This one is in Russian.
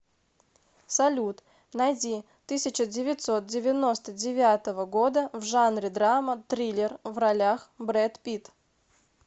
салют найди тысяча девятьсот девяносто девятого года в жанре драма триллер в ролях бред питт